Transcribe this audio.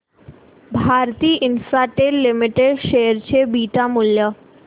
Bharti Infratel limited share चे beta मूल्य